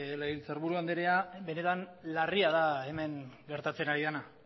legebiltzarburu andrea benetan larria da hemen gertatzen ari dena